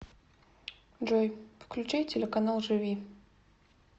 джой включай телеканал живи